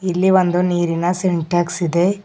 ಇಲ್ಲಿ ಒಂದು ನೀರಿನ ಸಿಂಟೆಕ್ಸ್ ಇದೆ.